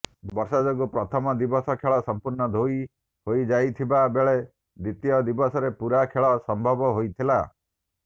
ବର୍ଷା ଯୋଗୁ ପ୍ରଥମ ଦିବସ ଖେଳ ସମ୍ପୂର୍ଣ୍ଣ ଧୋଇ ହୋଇଯାଇଥିବା ବେଳେ ଦ୍ୱିତୀୟ ଦିବସରେ ପୂରା ଖେଳ ସମ୍ଭବ ହୋଇଥିଲା